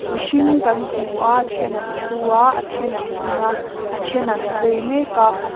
mihring kan hmu a then an thu a a then an ding a a then an vei mek a.